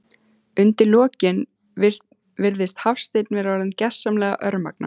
Undir lokin virðist Hafsteinn vera orðinn gersamlega örmagna.